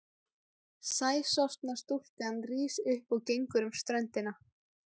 Sæsorfna stúlkan rís upp og gengur um ströndina.